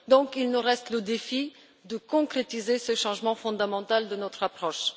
Il nous reste donc le défi de concrétiser ce changement fondamental de notre approche.